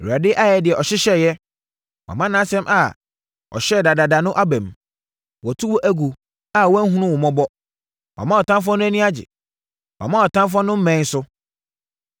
Awurade ayɛ deɛ ɔhyehyɛeɛ; wama nʼasɛm a ɔhyɛɛ dadaada no aba mu. Watu wo agu a wanhunu wo mmɔbɔ, wama ɔtamfoɔ no ani agye wama wʼatamfoɔ no mmɛn so.